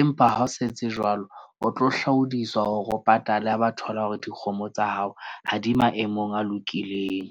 Empa ha o sa etse jwalo, o tlo hlaodiswa hore o patale ha ba thola hore dikgomo tsa hao ha di maemong a lokileng.